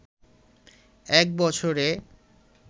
এক বছরে